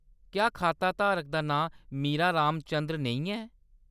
क्या खाताधारक दा नांऽ मीरा रामचन्द्र नेईं ऐ ?